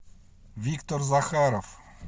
виктор захаров